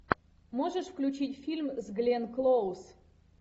можешь включить фильм с гленн клоуз